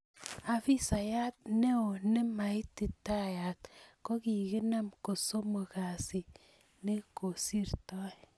Afisayat neo nemaititaat kokikinam ko somok kasiit ne kosirtoi.